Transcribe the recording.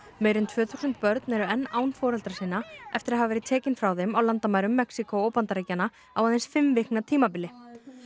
meira en tvö þúsund börn eru enn án foreldra sinna eftir að hafa verið tekin frá þeim á landamærum Mexíkó og Bandaríkjanna á aðeins fimm vikna tímabili